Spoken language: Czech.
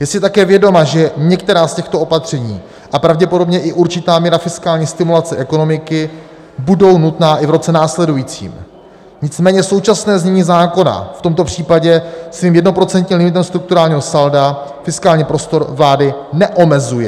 Je si také vědoma, že některá z těchto opatření a pravděpodobně i určitá míra fiskální stimulace ekonomiky budou nutná i v roce následujícím, nicméně současné znění zákona v tomto případě svým jednoprocentním limitem strukturálního salda fiskální prostor vlády neomezuje.